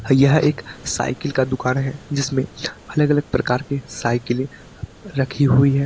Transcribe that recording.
यह एक साइकिल का दुकान है जिसमें अलग अलग प्रकार की साइकिल रखी हुई है।